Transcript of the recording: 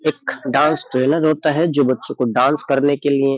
एख dance trainer होता है जो बच्चो की डांस करने के लिये --